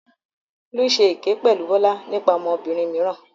Folú ṣe èké pẹ̀lú Bọ́lá nípa ọmọbìnrin mìíràn.